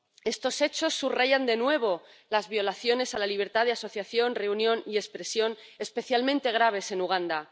Estos hechos subrayan, de nuevo, las violaciones a la libertad de asociación, reunión y expresión especialmente graves en Uganda.